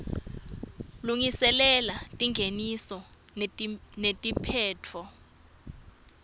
lungiselela tingeniso netiphetfo